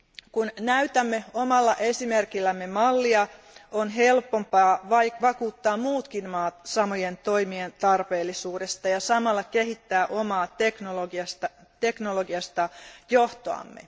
Kun näytämme omalla esimerkillämme mallia, on helpompaa vakuuttaa muutkin maat samojen toimien tarpeellisuudesta ja samalla kehittää omaa teknologista johtoasemaamme.